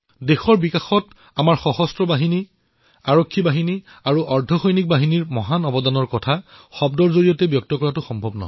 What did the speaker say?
দেশৰ বিকাশত আমাৰ সশস্ত্ৰবাহিনী আৰক্ষী আৰু অৰ্ধসৈনিকবাহিনীয়ে যি অৱদান আগবঢ়াইছে সেয়া শব্দৰে অভিব্যক্ত কৰাটো অসম্ভৱ